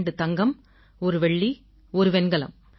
2 தங்கம் 1 வெள்ளி 1 வெண்கலம்